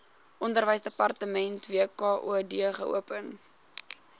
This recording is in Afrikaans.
onderwysdepartement wkod geopen